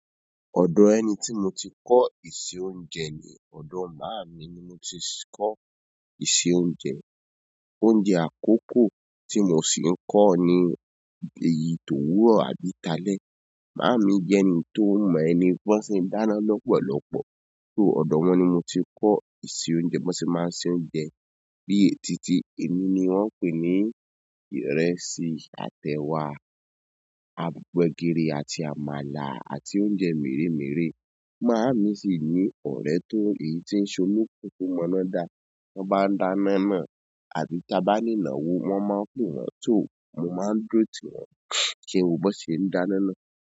Ọ̀dọ̀ ẹni tí mo ti kọ́ ìṣe oúnjẹ ni ọ̀dọ̀ màámi ni mo ti kọ́ ìṣe oúnjẹ. Oúnjẹ àkọ́kọ́ tí mo sì ń nko ni èyí tó wùrọ́ àbí tá lé. Màámi jẹ́ ẹni tó mọ ẹni bọ́ṣẹ́ n dáná lọ́pọ̀lọ́pọ̀, so ọ̀dọ̀ wọn ni mo ti kọ́ ìṣe oúnjẹ wọn sì máa ń ṣe oúnjẹ bíi e tìtì, èmi ni wọ́n ń pè ní ìrẹsì, àtẹ̀ wá, gbegírí àti àmàlà àti oúnjẹ merẹ̀ merẹ̀. Màámi sì ní ọ̀rẹ́ tó èyí tí ń ṣolopopo fún ọmọ náà dá. Wọ́n bá dáná ná àbí ta bá ni ìnáwó, wọ́n máa npe wọn tó, mo máa ń dúró tí wọn, kí wọ́n bo nṣe ń dáná ná.